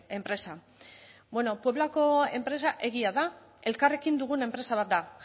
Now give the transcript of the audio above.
enpresa bueno pueblako enpresa egia da elkarrekin dugun enpresa bat da